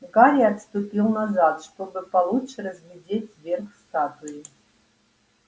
гарри отступил назад чтобы получше разглядеть верх статуи